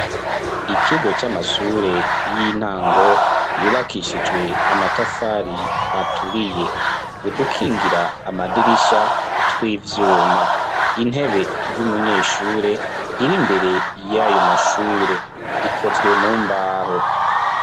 ikigo c'amasure y'intango yubakishijwe amatafari aturiye udukingira amadirishya tw'ivyuma intebe y'umunyeshure iri mbere y'ayo mashure ikozwe mu mbaho